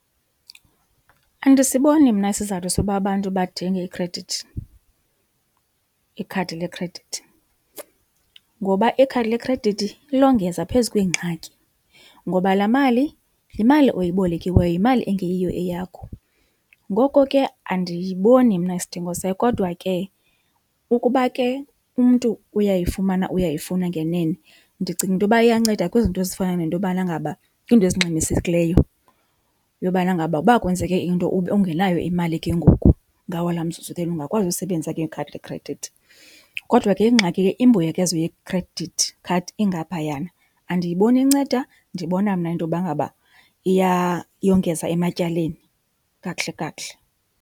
Andisiboni mna isizathu soba abantu badinge ikhredithi, ikhadi lekhredithi. Ngoba ikhadi lekhredithi longeza phezu kweengxaki ngoba laa mali yimali oyibolekiweyo, yimali engeyiyo eyakho. Ngoko ke andiyiboni mna isidingo sayo. Kodwa ke ukuba ke umntu uyayifumana, uyayifuna ngenene, ndicinga into yoba iyanceda kwizinto ezifana nento yobana ngaba kwiinto ezingxamisekileyo yobana ngaba uba kwenzeke into ube ungenayo imali ke ngoku ngawo laa mzuzu then ungakwazi usebenzisa ke ikhadi lekhredithi. Kodwa ke ingxaki ke imbuyekezo yekhredithi khadi ingaphayana. Andiyiboni inceda, ndibona mna into yoba ngaba iyongeza ematyaleni kakuhle kakuhle.